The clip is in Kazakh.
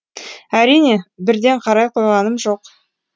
әрине бірден қарай қойғаным жоқ